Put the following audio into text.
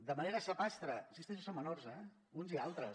de manera sapastre hi insisteixo són menors eh uns i altres